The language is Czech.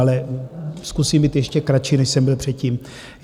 Ale zkusím být ještě kratší, než jsem byl předtím.